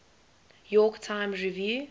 york times review